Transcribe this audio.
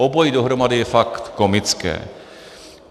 Obojí dohromady je fakt komické.